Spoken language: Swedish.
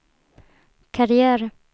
karriär